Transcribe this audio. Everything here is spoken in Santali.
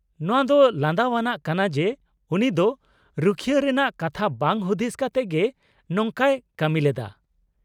-ᱱᱚᱶᱟᱹ ᱫᱚ ᱞᱟᱸᱫᱟᱣᱟᱱᱟᱜ ᱠᱟᱱᱟ ᱡᱮ ᱩᱱᱤ ᱫᱚ ᱨᱩᱠᱷᱭᱟᱹ ᱨᱮᱱᱟᱜ ᱠᱟᱛᱷᱟ ᱵᱟᱝ ᱦᱩᱫᱤᱥ ᱠᱟᱛᱮᱫ ᱜᱮ ᱱᱚᱝᱠᱟᱭ ᱠᱟᱹᱢᱤᱞᱮᱫᱟ ᱾